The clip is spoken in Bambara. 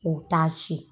U bɛ taa si